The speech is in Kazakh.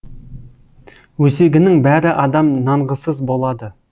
өсегінің бәрі адам нанғысыз болады